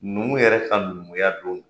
Numu yɛrɛ ka numuya don